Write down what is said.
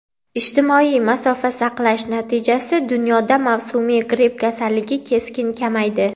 Ijtimoiy masofa saqlash natijasi: dunyoda mavsumiy gripp kasalligi keskin kamaydi.